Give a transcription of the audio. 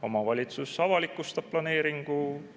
Omavalitsus avalikustab planeeringu.